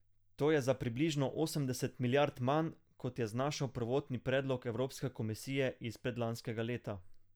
To je za približno osemdeset milijard manj, kot je znašal prvotni predlog evropske komisije iz predlanskega leta.